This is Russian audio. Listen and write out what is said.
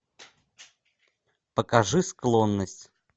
покажи склонность